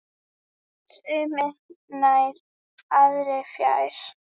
Sumir nær, aðrir fjær.